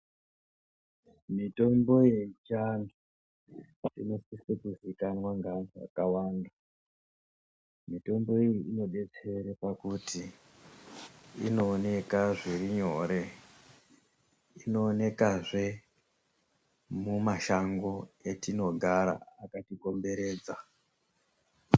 Mitombo yechiantu inosise kuziikanwa ngeantu akawanda. Mitombo iyi inodetsere pakuti inooneka zvirinyore. Inoonekazve mumashango etinogara akatikomberedza